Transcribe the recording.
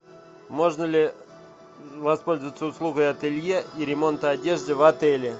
можно ли воспользоваться услугой ателье и ремонта одежды в отеле